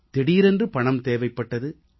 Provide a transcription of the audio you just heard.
திடீரென்று பணம் தேவைப்பட்டது